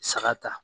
Saga ta